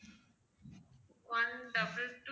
one double two